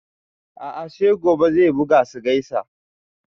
A'a sai gobe zai buga su gaisa